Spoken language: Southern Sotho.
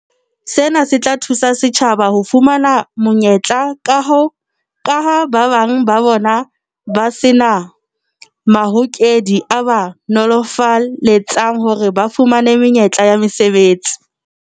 Sena se tla thusa batjha ho fumana menyetla kaha ba bang ba bona ba se na mahokedi a ba nolofaletsang hore ba fumane menyetla ya mesebetsi.